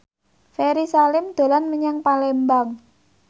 Ferry Salim dolan menyang Palembang